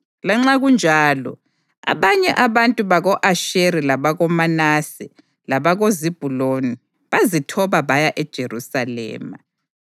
Lanxa kunjalo, abanye abantu bako-Asheri labakoManase labakoZebhuluni bazithoba baya eJerusalema.